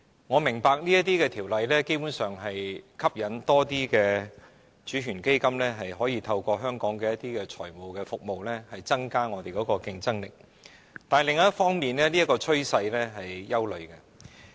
我明白這類法例基本上能吸引更多主權基金透過香港的財務服務增加我們的競爭力，但另一方面，這個趨勢卻令人憂慮。